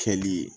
Kɛli